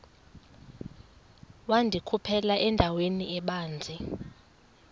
wandikhuphela endaweni ebanzi